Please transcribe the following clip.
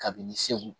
Kabini segu